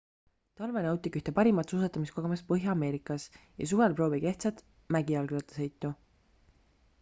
talvel nautige ühte parimat suusatamiskogemust põhja-ameerikas ja suvel proovige ehtsat mägijalgrattasõitu